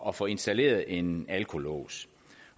at få installeret en alkolås